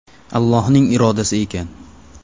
Allohning irodasi ekan.